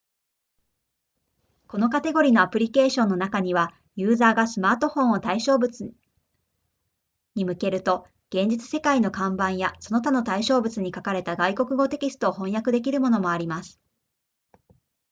このカテゴリのアプリケーションの中にはユーザーがスマートフォンを対象物に向けると現実世界の看板やその他の対象物に書かれた外国語テキストを翻訳できるものもあります